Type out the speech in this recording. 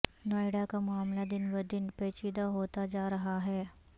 نوئیڈا کا معاملہ دن بدن پیچیدہ ہوتا جارہا ہے